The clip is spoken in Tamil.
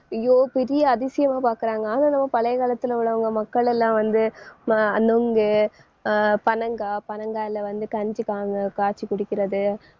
ஐயோ பெரிய அதிசயமா பாக்குறாங்க. ஆனா நம்ம பழைய காலத்துல உள்ளவங்க மக்களெல்லாம் வந்து ம~ அஹ் நுங்கு அஹ் பனங்காய் பனங்காயில வந்து கஞ்சிகாங்க காய்ச்சி குடிக்கிறது.